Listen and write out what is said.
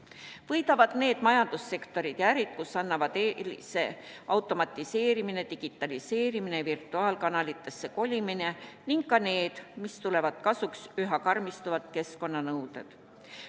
Võidavad need majandussektorid ja ärid, kus annavad eelise automatiseerimine, digitaliseerimine, virtuaalkanalitesse kolimine, ning ka need, millele tulevad kasuks üha karmistuvad keskkonnanõuded.